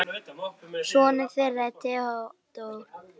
Sonur þeirra er Theodór Nói.